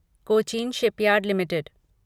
Cochin shipyard limited